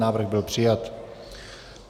Návrh byl přijat.